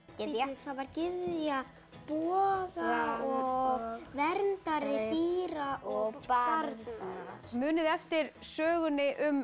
það var gyðja boga og verndari dýra og barna munið þið eftir sögunni um